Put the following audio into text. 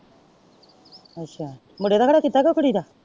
ਅੱਛਾ ਵਡੇ ਵਾਲੇ ਦਾ ਕਿੱਤਾ ਕੇ ਕੁੜੀ ਦਾ?